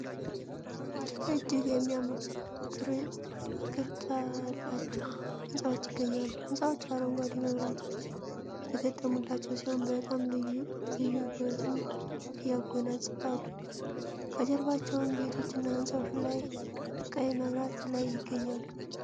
እጅግ የሚያምሩ ቅርጫላቸው ህንፃዎች ይገኛሉ ህንጻዎቹ አረንጓዴ መብራቶች የተገጠሙላቸው ሲሆን በጣም ልዩበትም እያጎናጽፋሉ ከጀርባቸውም ቤቶች እና ህንፃዎች ቀይ መብራት ላይ ይገኛሉ ።